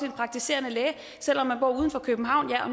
en praktiserende læge selv om man bor uden for københavn ja og